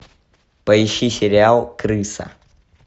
поищи сериал крыса